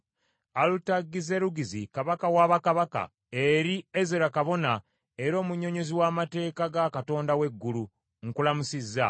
Alutagizerugizi, kabaka wa bakabaka, Eri Ezera kabona era omunnyonnyozi w’amateeka ga Katonda w’eggulu: Nkulamusizza.